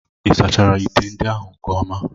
Ị sachara ite ndị ahụ nke ọma?